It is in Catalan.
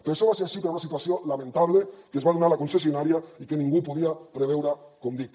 però això va ser així per una situació lamentable que es va donar a la concessionària i que ningú podia preveure com dic